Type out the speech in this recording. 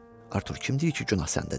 Artur, kim deyir ki, günah səndədir?